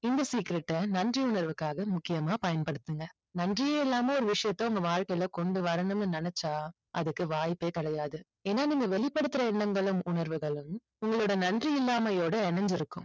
இந்த secret அ நன்றி உணர்வுக்காக முக்கியமா பயன்படுத்துங்க. நன்றியே இல்லாம ஒரு விஷயத்தை உங்க வாழ்க்கையில கொண்டு வரணும்னு நினைச்சா அதுக்கு வாய்ப்பே கிடையாது. ஏன்னா நம்ம வெளிப்படுத்துற எண்ணங்களும் உணர்வுகளும் உங்களோட நன்றி இல்லாமையோட இணைஞ்சிருக்கும்.